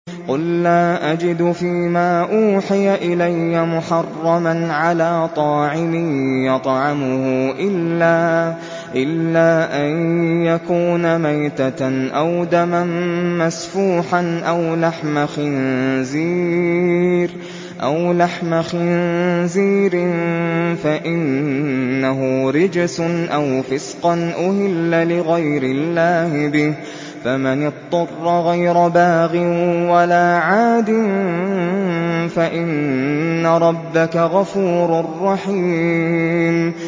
قُل لَّا أَجِدُ فِي مَا أُوحِيَ إِلَيَّ مُحَرَّمًا عَلَىٰ طَاعِمٍ يَطْعَمُهُ إِلَّا أَن يَكُونَ مَيْتَةً أَوْ دَمًا مَّسْفُوحًا أَوْ لَحْمَ خِنزِيرٍ فَإِنَّهُ رِجْسٌ أَوْ فِسْقًا أُهِلَّ لِغَيْرِ اللَّهِ بِهِ ۚ فَمَنِ اضْطُرَّ غَيْرَ بَاغٍ وَلَا عَادٍ فَإِنَّ رَبَّكَ غَفُورٌ رَّحِيمٌ